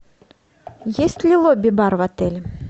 есть ли лобби бар в отеле